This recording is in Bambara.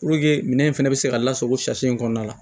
minɛn in fana bɛ se ka lasago sariya kɔnɔna la